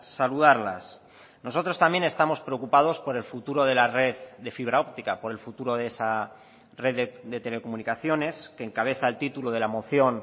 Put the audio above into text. saludarlas nosotros también estamos preocupados por el futuro de la red de fibra óptica por el futuro de esa red de telecomunicaciones que encabeza el título de la moción